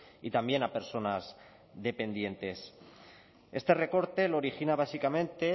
y también a personas dependientes este recorte lo origina básicamente